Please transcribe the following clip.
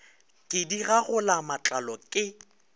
ke di gagola matlalo ke